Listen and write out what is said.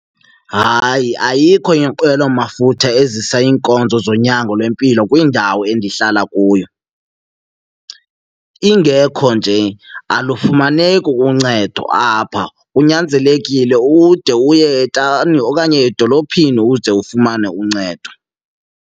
Hayi, ayikho inqwelomafutha ezisa iinkonzo zonyango lwempilo kwindawo endihlala kuyo. Ingekho nje alufumaneki uncedo apha, kunyanzelekile ude uye etawuni okanye edolophini ude ufumane uncedo.